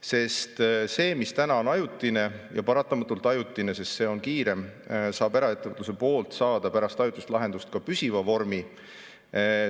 Sest see, mis täna on ajutine, ja paratamatult ajutine, sest see on kiirem, saab eraettevõtluse poolt pärast ajutist lahendust püsiva vormi.